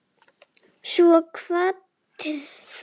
Svo kvaddir þú.